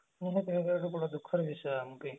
ଗୋଟେ ଦୁଖଃ ର ବିଷୟ ଆମ ପାଇଁ